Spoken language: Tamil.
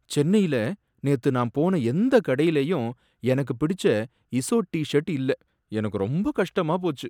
சென்னையில நேத்து நான் போன எந்த கடையிலயும் எனக்கு பிடிச்ச இஸோட் டி ஷர்ட் இல்ல, எனக்கு ரொம்ப கஷ்டமா போச்சு.